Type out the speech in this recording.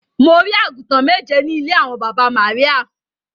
Mo rí àgùntàn méje ní ilé àwọn baba Maria.